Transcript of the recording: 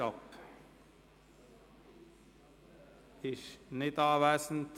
– Nein, sie ist nicht anwesend.